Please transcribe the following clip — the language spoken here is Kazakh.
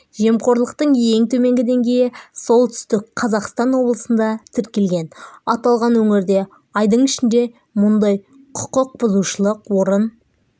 жемқорлықтың ең төменгі деңгейі солтүстік қазақстан облысында тіркелген аталған өңірде айдың ішінде мұндай құқықбұзушылық орын